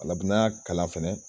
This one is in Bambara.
Ale bi n'a kala fɛnɛ